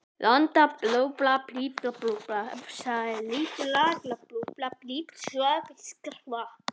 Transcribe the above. Landbúnaðarráðuneytið lagði lítinn vísindalegan metnað í rekstur stöðvarinnar.